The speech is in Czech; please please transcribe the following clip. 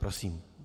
Prosím.